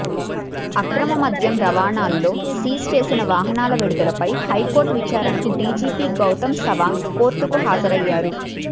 అక్రమ మద్యం రవాణాలో సీజ్ చేసిన వాహనాల విడుదలపై హైకోర్టు విచారణకు డీజీపీ గౌతం సవాంగ్ కోర్టుకు హాజరయ్యారు